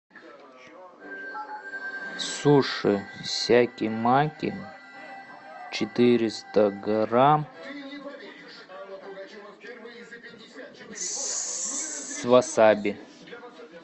суши сяки маки четыреста грамм с васаби